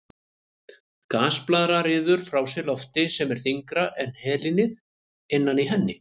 Gasblaðra ryður frá sér lofti sem er þyngra en helínið innan í henni.